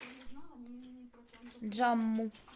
джамму